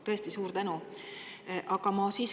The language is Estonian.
Tõesti suur tänu!